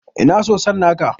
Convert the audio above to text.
Ina soson naka?